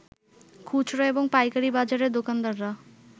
খুচরা এবং পাইকারি বাজারের দোকানদাররা